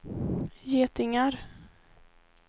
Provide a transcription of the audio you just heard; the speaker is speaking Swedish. getingar